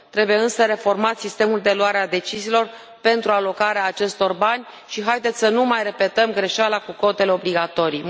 Trebuie însă reformat sistemul de luare a deciziilor pentru alocarea acestor bani și haideți să nu mai repetăm greșeala cu cotele obligatorii.